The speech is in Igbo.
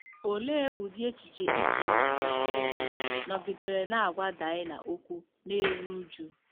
Olee ụdị echiche i chere na Shekem “nọgidere na-agwa Daịna okwu na-eru uju”?